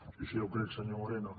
sí sí ja ho crec senyor moreno